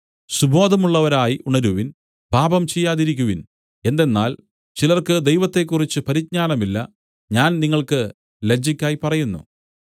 സുബോധമുള്ളവരായി ഉണരുവിൻ പാപം ചെയ്യാതിരിക്കുവിൻ എന്തെന്നാൽ ചിലർക്ക് ദൈവത്തെക്കുറിച്ച് പരിജ്ഞാനമില്ല ഞാൻ നിങ്ങൾക്ക് ലജ്ജയ്ക്കായി പറയുന്നു